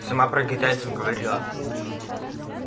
сама про китайцев говорила